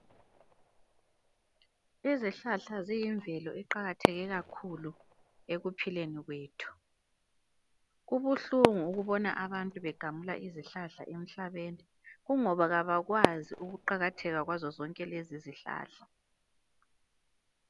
Izihlahla ziyimvelo eqakatheke kakhulu ekuphileni kwethu. Kubuhlungu ukubona abantu begamula izihlahla emhlabeni kungoba abakwazi ukuqakatheka kwalezo zihlahla.